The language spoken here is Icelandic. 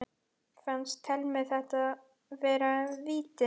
Fannst Thelmu þetta vera víti?